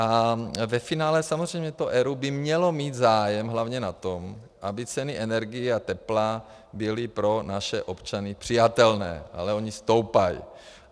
Ale ve finále samozřejmě to ERÚ by mělo mít zájem hlavně na tom, aby ceny energií a tepla byly pro naše občany přijatelné, ale ony stoupají.